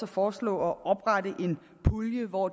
foreslå at oprette en pulje hvor